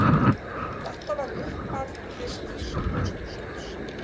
Þetta var upphaf kristins klausturlífs.